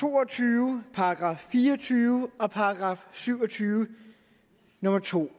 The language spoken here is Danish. to og tyve § fire og tyve og § syv og tyve nummer 2